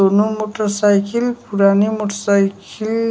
दोनों मोटरसाइकिल पुरानी मोटरसाइकिल --